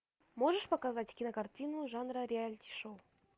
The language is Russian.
можешь показать кинокартину жанра реалити шоу